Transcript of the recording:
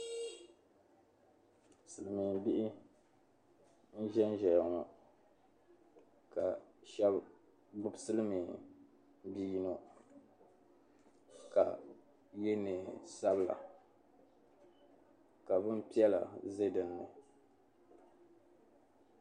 Silimbihi n-zanzaya ŋɔ ka shɛba gbubi siliminbi' yino ka ye neen' sabila ka bin' piɛla be din ni.